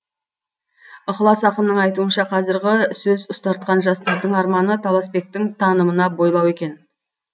ықылас ақынның айтуынша қазіргі сөз ұстартқан жастардың арманы таласбектің танымына бойлау екен